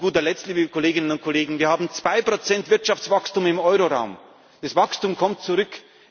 Bürger. Und zu guter Letzt, liebe Kolleginnen und Kollegen Wir haben 2 Wirtschaftswachstum im Euro Raum, das Wachstum kommt